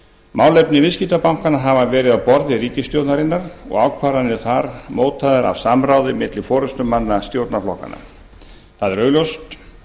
málefni viðskiptabankanna hafa verið á borði ríkisstjórnarinnar og ákvarðanir þar mótaðar af samráði milli forustumanna stjórnarflokkanna það er augljóst